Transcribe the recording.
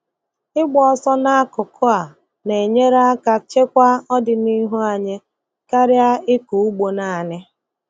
Ịgba ọsọ n'akụkụ a na-enyere aka chekwa ọdịnihu anyị karịa ịkọ ugbo naanị.